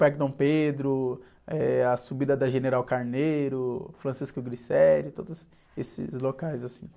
Parque Dom Pedro, eh, a subida da General Carneiro, Francisco Glicério, todos esses locais, assim.